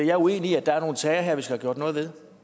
er uenig i at der er nogle sager her vi skal have gjort noget ved